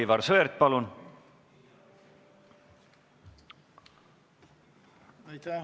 Aivar Sõerd, palun!